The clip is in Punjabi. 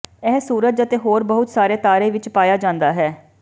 ਇਹ ਸੂਰਜ ਅਤੇ ਹੋਰ ਬਹੁਤ ਸਾਰੇ ਤਾਰੇ ਵਿੱਚ ਪਾਇਆ ਜਾਂਦਾ ਹੈ